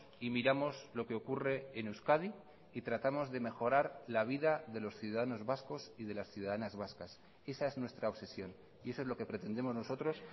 y miramos lo que ocurre en euskadi y tratamos de mejorar la vida de los ciudadanos vascos y de las ciudadanas vascas esa es nuestra obsesión y eso es lo que pretendemos nosotros